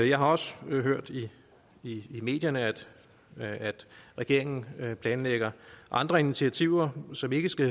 jeg har også hørt i medierne at regeringen planlægger andre initiativer som ikke skal